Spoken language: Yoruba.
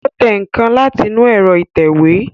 Ó tẹ nǹkan láti inú ẹ̀rọ ìtẹ̀wé